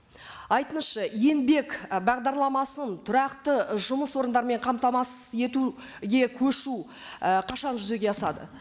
айтыңызшы еңбек і бағдарламасының түрақты і жұмыс орындармен қамтамасыз етуге көшу і қашан жүзеге асады